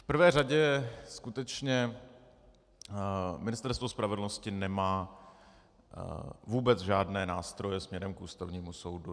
V prvé řadě skutečně Ministerstvo spravedlnosti nemá vůbec žádné nástroje směrem k Ústavnímu soudu.